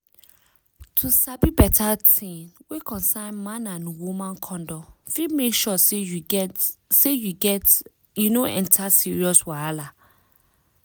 to sabi beta tin wey concern man and woman condom fit make sure say you get say you get you no enter serious wahala